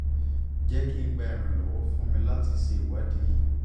jẹ ki n gba iranlọwọ fun mi lati ṣe iwadi yii